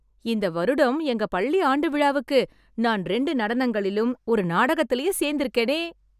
இந்த வருடம் எங்க பள்ளி ஆண்டு விழாவுக்கு நான் ரெண்டு நடனங்களிலும், ஒரு நாடகத்துலயும் சேர்ந்துருக்கேனே...